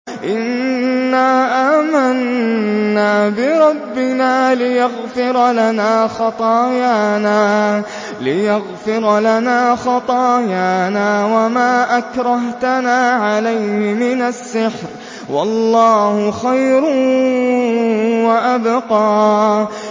إِنَّا آمَنَّا بِرَبِّنَا لِيَغْفِرَ لَنَا خَطَايَانَا وَمَا أَكْرَهْتَنَا عَلَيْهِ مِنَ السِّحْرِ ۗ وَاللَّهُ خَيْرٌ وَأَبْقَىٰ